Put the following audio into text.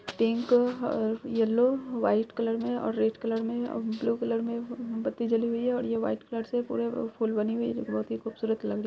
pink ह- yellow white colour में और रेड कलर में और ब्लू कलर में बत्ती जली हुई है और ये व्हाइट कलर से पूरे फूल बने हुई है जो कि बहोत खूबसूरत लग रही--